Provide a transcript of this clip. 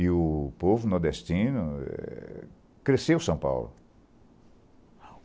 E o povo nordestino cresceu São Paulo.